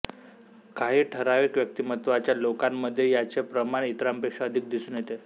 काही ठराविक व्यक्तिमत्वाच्या लोकांमध्ये याचे प्रमाण इतरांपेक्षा अधिक दिसून येते